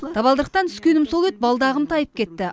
табалдырықтан түскенім сол еді балдағым тайып кетті